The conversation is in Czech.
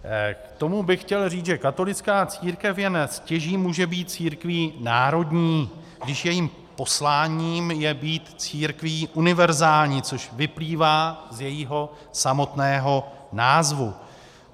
K tomu bych chtěl říct, že katolická církev jen stěží může být církví národní, když jejím posláním je být církví univerzální, což vyplývá z jejího samotného názvu.